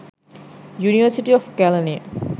university of kalaniya